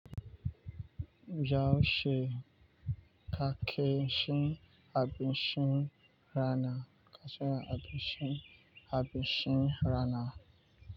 Yaushe kake ci abinci rana?